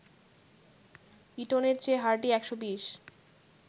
ইটনের চেয়ে হার্ডি ১২০